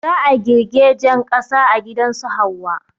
Za a girgejen ƙasa a gidan su Hauwa